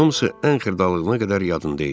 Hamısı ən xırdalığına qədər yadında idi.